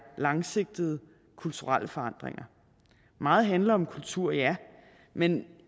langsigtede kulturelle forandringer meget handler om kultur ja men